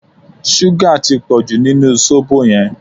Súgà tí pọ̀jù nínú sóbò yẹn